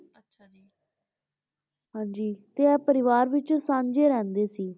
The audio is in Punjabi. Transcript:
ਹਾਂਜੀ ਤੇ ਇਹ ਪਰਿਵਾਰ ਵਿੱਚ ਸਾਂਝੇ ਰਹਿੰਦੇ ਸੀ।